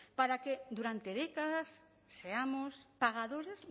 para que durante décadas seamos pagadores